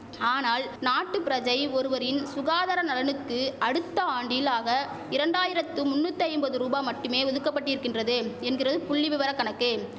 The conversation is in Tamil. ஆனால் நாட்டு பிரஜை ஒருவரின் சுகாதார நலனுக்கு அடுத்த ஆண்டில் ஆக இரண்டாயிரத்து முன்னுத்தைம்பது ரூபா மட்டுமே ஒதுக்கபட்டிருக்கின்றது என்கிறது புள்ளி விவர கணக்கு